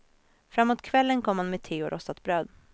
Framåt kvällen kom han med te och rostat bröd.